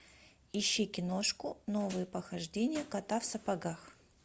ищи киношку новые похождения кота в сапогах